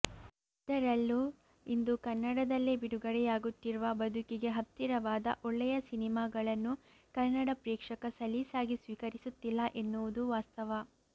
ಅದರಲ್ಲೂ ಇಂದು ಕನ್ನಡದಲ್ಲೇ ಬಿಡುಗಡೆಯಾಗುತ್ತಿರುವ ಬದುಕಿಗೆ ಹತ್ತಿರವಾದ ಒಳ್ಳೆಯ ಸಿನೆಮಾಗಳನ್ನೂ ಕನ್ನಡ ಪ್ರೇಕ್ಷಕ ಸಲೀಸಾಗಿ ಸ್ವೀಕರಿಸುತ್ತಿಲ್ಲ ಎನ್ನುವುದೂ ವಾಸ್ತವ